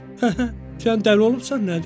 Həhə, sən dəli olubsan, nədir?